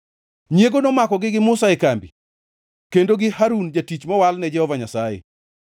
Nyiego nomakogi gi Musa e kambi, kendo gi Harun, jatich mowal ni Jehova Nyasaye.